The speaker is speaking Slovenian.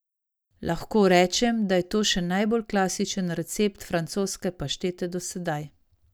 Lahko rečemo, da je to še najbolj klasičen recept francoske paštete do sedaj.